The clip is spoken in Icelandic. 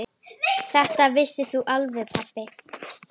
Þetta vissir þú alveg pabbi.